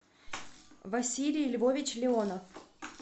василий львович леонов